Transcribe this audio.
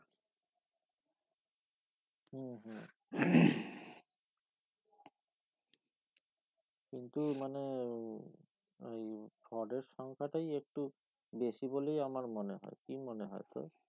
কিন্তু মানে উম এই fraud এর সংখ্যাটাই একটু বেশি বলেই আমার মনে হয় কি মনে হয় তোর